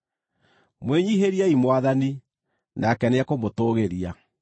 Mwĩnyiihĩriei Mwathani, nake nĩekũmũtũũgĩria.